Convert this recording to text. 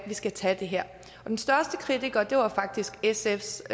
vi skal tage det her den største kritiker var dengang faktisk sfs